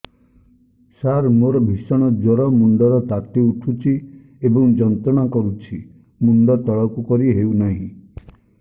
ସାର ମୋର ଭୀଷଣ ଜ୍ଵର ମୁଣ୍ଡ ର ତାତି ଉଠୁଛି ଏବଂ ଯନ୍ତ୍ରଣା କରୁଛି ମୁଣ୍ଡ ତଳକୁ କରି ହେଉନାହିଁ